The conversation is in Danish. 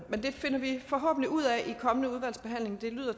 det finder vi forhåbentlig ud af i den kommende udvalgsbehandling det lyder